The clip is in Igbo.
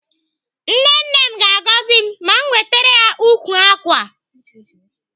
Nne nne m ga-agọzi m ma m wetere ya ukwu ákwà a.